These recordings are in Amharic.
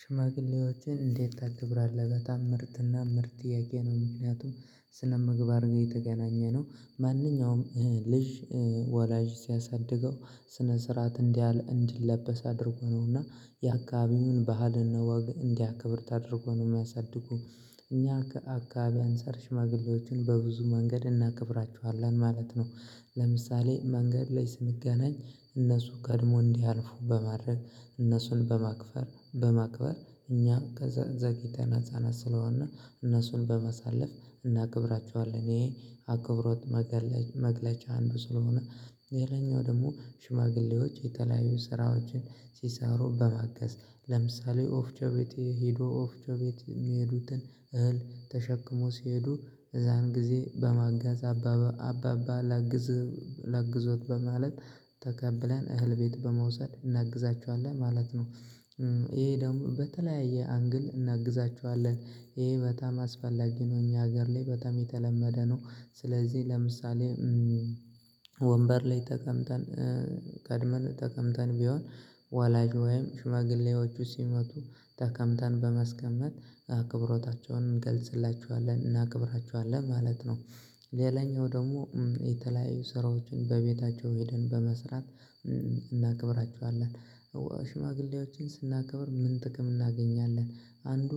ሽማግሌዎችን እንዴት ታከብራለህ በጣም ምርጥና ምርጥ ጥያቄ ነው። ምክንያቱም ስነምግባር ጋር የተገናኘ ነው ማንኛውም ልጅ ወላጅ ሲያሳድገው ስነ ስርዓት እንዲላበስ አድርጎ ነውና የአካባቢውን ባህልና ወግ እንዲያከብር ተደርጎ ነው የሚያሳድጉት ከእኛ አከባቢ አንፃር ሽማግሌዎችን በብዙ መንገድ እናከብራቸዋለን ማለት ነው። ለምሳሌ መንገድ ላይ ስንገናኝ እነሱ ቀድመው እንዲያልፉ በማድረግ እነሱን በማክፈር በማክበር እኛም ዘግይተን ህፃናት ስለሆን እነሱን በማሳለፍ እናክብራቸዋለን ይሄ አክብሮት መግለጫ አንዱ ስለሆነ። ሌላኛው ደግሞ ሽማግሌዎች የተለያዩ ስራዎችን ሲሰሩ በማገስ ለምሳሌ ወፍጮ ቤት ሄዶ ወፍጮ ቤት የሚሄዱትን እህል ተሸክመው ሲሄዱ የዛን ጊዜ በማገዝ አባባ ላግዝህ ላግዝዎት በማለት ተቀብለን እህል ቤት በመውሰድ እናግዛቸዋለን ማለት ነው ይሄ ደግሞ በተለያየ አንግል እናግዛቸዋለን ይሄ በጣም አስፈላጊ ነው እኛ ሀገር ላይ በጣም የተለመደ ነው ስለዚህ ለምሳሌ ወንበር ላይ ተቀምጠን ቀድመን ተቀምጠን ቢሆን ወላጅ ወይም ሽማግሌዎቹ ሲመቱ ተቀምጠን በማስቀመት አክብሮታቸውን እንገልጽላቸዋለን እናከብራቸዋለን ማለት ነው። ሌላኛው ደግሞ የተለያዩ ስራዎችን በቤታቸው ሄደን በመስራት እናከብራቸዋለን ሽማግሌዎችን ስናከብር ምን ጥቅም እናገኛለን አንዱ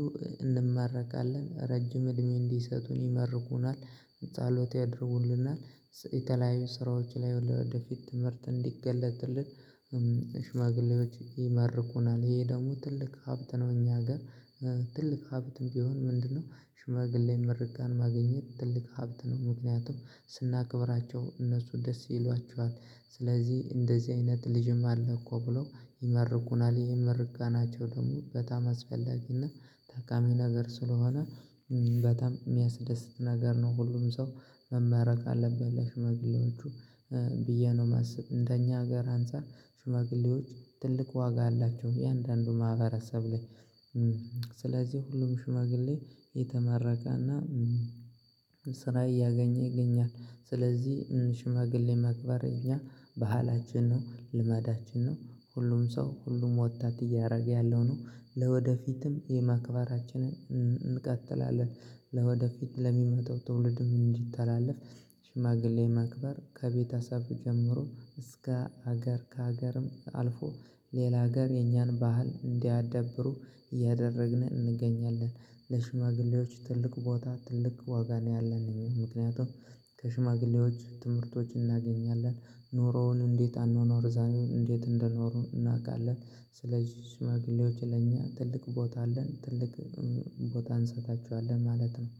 እንመረቃለን ረጅም እድሜ እንዲሰጠን ይመርቁናል፣ ጸሎት ያደርጉልናል የተለያዩ ስራዎች ላይ ወደፊት ትምህርት እንዲገለጥልን ሽማግሌዎች ይመርቁናል ይሄ ደግሞ ትልቅ ሀብት ነው እኛ ሀገር ትልቅ ሀብትም ቢሆን ምንድነው ሽማግሌ ምርቃን ማግኘት ትልቅ ሀብት ነው ምክንያቱም ስናከብራቸው እነሱ ደስ ይሏቸዋል ስለዚህ እንደዚህ አይነት ልጅም አለ እኮ ብለው ይመርቁናል ይህም ምርቃናቸው ደግሞ በጣም አስፈላጊና ታቃሚ ነገር ስለሆነ በጣም የሚያስደስት ነገር ነው ሁሉም ሰው መመረቅ አለበት ለሽመግሌዎቹ ብዬ ነው የማስብ እንደኛ ሀገር አንፃር ሽመግሌዎች ትልቅ ዋጋ አላቸው እያንዳንዱ ማህበረሰብ ላይ ስለዚህ ሁሉም ሽማግሌ የተመረቀና ስራ እያገኘ ይገኛል ስለዚህ ሽማግሌ ማክበር እኛ ባህላችን ነው ልመዳችን ነው ሁሉም ሰው ሁሉም ወጣት እያደረገ ያለው ነው ለወደፊትም ማክበራችንን እንቀጥላለን ለወደፊት ለሚመጣው ትውልድም እንዲተላለፍ ሽማግሌ ማክበር ከቤተሰብ ጀምሮ እስከ ሀገር ከሀገርም አልፎ ሌላ ሀገር የኛን ባህል እንዲያዳብሩ እያደረግን እንገኛለን። ለሽማግሌዎች ትልቅ ቦታ ትልቅ ዋጋ ነው ያለን እኛ ምክንያቱም ከሽማግሌዎች ትምህርቶች እናገኛለን ኑሮውን እንዴት አኗኗር ዘይቤዉን እንዴት እንደኖሩ እናውቃለን ስለዚህ ሽማግሌዎች ለኛ ትልቅ ቦታ አለን ትልቅ ቦታ እንሰጣቸዋለን ማለት ነው